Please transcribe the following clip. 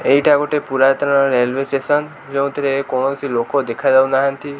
ଏଇଠା ଗୋଟେ ପୁରାତନ railway station ଯେଉଁଥିରେ କୌଣସି ଲୋକ ଦେଖାଯାଉ ନାହାଁନ୍ତି।